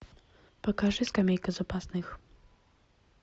покажи скамейка запасных